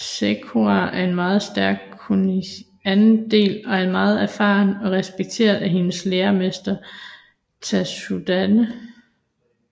Sakura er en meget stærk Kunoichi i anden del og er meget erfaren og respekteret af hendes læremester Tsunade